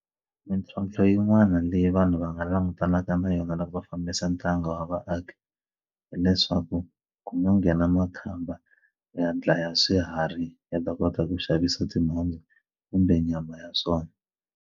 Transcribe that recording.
Mintlhontlho yin'wani leyi vanhu va nga langutanaka na yona loko va fambisa ntanga wa vaaki hileswaku ku ma nghena makhamba ya dlaya swiharhi ya ta kota ku xavisa timhondzo kumbe nyama ya swona.